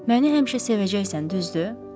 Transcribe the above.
Məni həmişə sevəcəksən, düzdür?